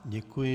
Děkuji.